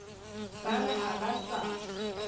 ba re ha ba sa